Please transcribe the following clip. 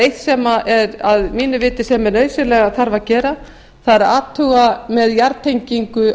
eitt sem þarf að mínu viti nauðsynlega að gera er að athuga með jarðtengingu